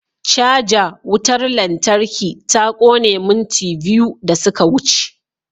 Caja wutar lantarki ta kone minti biyu da suka wuce.